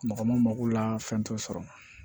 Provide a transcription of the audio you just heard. Mɔgɔ ma mako la fɛn t'o sɔrɔ